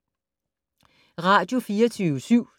Radio24syv